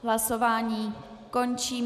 Hlasování končím.